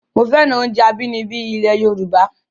Mo féràn oúnjẹ abínibí ilẹ̀ Yorùbá